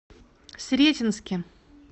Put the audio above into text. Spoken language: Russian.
сретенске